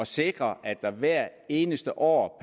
sikre at der hvert eneste år